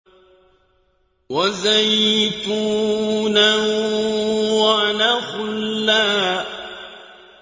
وَزَيْتُونًا وَنَخْلًا